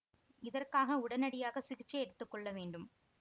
இதற்காக உடனடியாக சிகிச்சை எடுத்து கொள்ள வேண்டும்